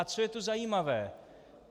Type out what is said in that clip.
A co je tu zajímavé?